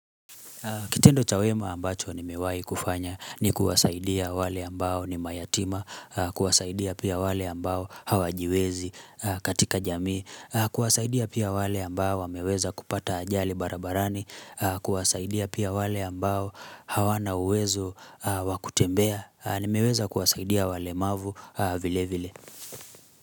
Kitendo cha wema ambacho ni miwai kufanya ni kuwasaidia wale ambao ni mayatima, kuwasaidia pia wale ambao hawajiwezi katika jamii, kuwasaidia pia wale ambao wameweza kupata ajali barabarani, kuwasaidia pia wale ambao hawana uwezo wakutembea, nimeweza kuwasaidia walemavu vile vile.